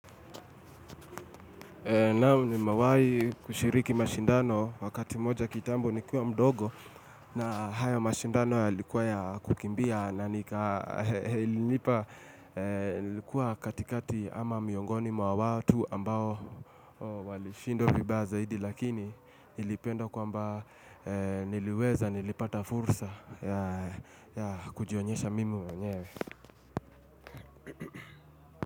Naam nimewahi kushiriki mashindano wakati moja kitambo nikiwa mdogo na hayo mashindano yalikuwa ya kukimbia na nika ilinipa, ilikuwa katikati ama miongoni mwa watu ambao walishindwq vibaya zaidi lakini nilipenda kwamba niliweza nilipata fursa ya kujionyesha mimi mwenyewe.